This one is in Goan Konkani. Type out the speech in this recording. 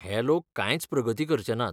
हे लोक कांयच प्रगती करचे नात.